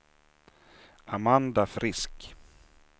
Amanda Frisk